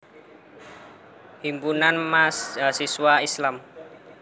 Himpunan Mahasiswa Islam